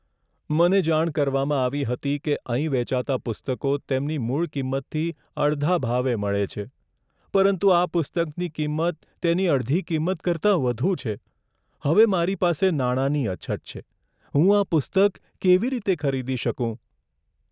મને જાણ કરવામાં આવી હતી કે અહીં વેચાતાં પુસ્તકો તેમની મૂળ કિંમતથી અડધા ભાવે મળે છે, પરંતુ આ પુસ્તકની કિંમત તેની અડધી કિંમત કરતાં વધુ છે. હવે મારી પાસે નાણાંની અછત છે, હું આ પુસ્તક કેવી રીતે ખરીદી શકું?